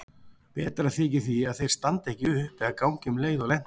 Betra þykir því að þeir standi ekki upp eða gangi um leið og lent er.